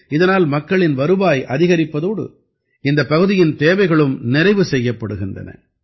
இதனால் மக்களின் வருவாய் அதிகரிப்பதோடு இந்தப் பகுதியின் தேவைகளும் நிறைவு செய்யப்படுகின்றன